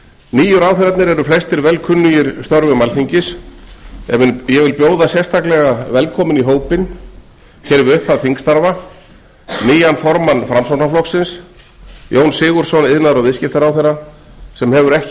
nýju ráðherrarnir eru flestir vel kunnugir störfum alþingis en ég vil bjóða sérstaklega velkominn í hópinn hér við upphaf þingstarfa nýjan formann framsóknarflokksins jón sigurðsson iðnaðar og viðskiptaráðherra sem hefur ekki